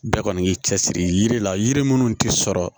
Bɛɛ kɔni y'i cɛsiri yiri la yiri minnu tɛ sɔrɔ